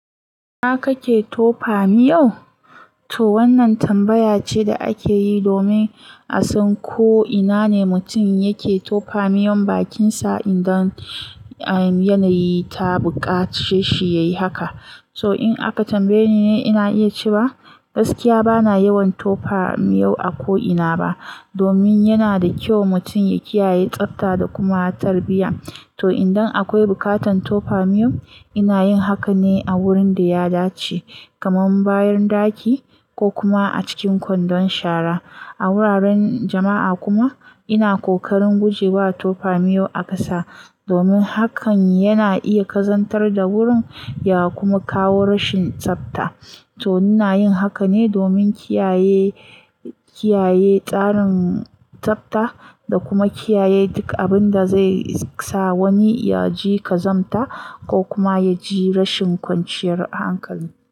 Ina kake tofa miyo? To wannan tambaya ce da ake yi domin a san ko ina ne mutum yake tofa miyon bakinsa idan, um, yanayi ta buƙace shi ya yi haka. To in aka tambayeni ni ina iya cewa gaskiya bana yawan tofa miyo a ko ina ba, domin yana da ƙyau mutum ya kiyaye tsafta da kuma tarbiyya. To idan akwai buƙatar tofa miyo, ina yin haka ne a wurin da ya dace, kamar bayan ɗaki ko kuma a cikin kwandon shara. A wuraren jama'a kuma ina ƙoƙarin gujewa tofa miyo a ƙasa, domin hakan yana iya ƙazantar da wurin ya kuma kawo rashin tsafta. To ina yin haka ne domin kiyaye, kiyaye tsarin tsafta da kuma kiyaye duk abin da zai sa wani yaji ƙazanta ko kuma yaji rashin ƙwanciyar hankali.